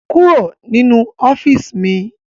Kúrò nínú ọ́fíìsì mi!